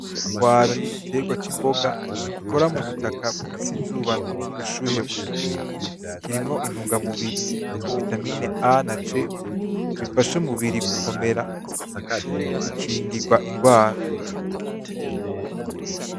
Ipwaro ni igitegwa c’imboga gikora mu butaka bufise izuba n’ubushuhe buke. Kirimwo intunga-mubiri nka vitamine A na C, gifasha umubiri gukomera no gukingirwa indwara.